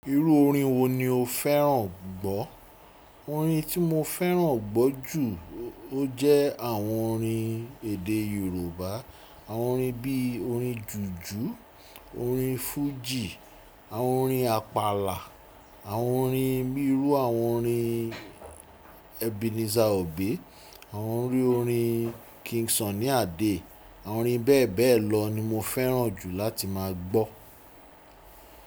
Irú orin wo ni o fẹ́ràn gbọ́? Orin tí mo fẹ́ràn gbọ́ jù ó jẹ́ àwọn orin èdè Yorùbá. Àwọn orin bí i orin jùjú, orin fújì, àwọn orin Àpàlà, àwọn orin bi iru àwọn orin Ebenezer Obey, àwọn orin orin King Sunny Adé. Àwọn orin bẹ́ẹ̀ bẹ́ẹ̀ lọ ni mo fẹ́ràn jù láti máa gbọ́.